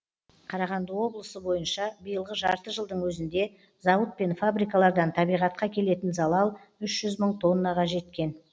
қарағанды облысы бойынша биылғы жарты жылдың өзінде зауыт пен фабрикалардан табиғатқа келетін залал үш жүз мың тоннаға жеткен